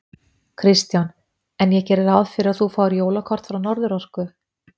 Kristján: En ég geri ráð fyrir að þú fáir jólakort frá Norðurorku?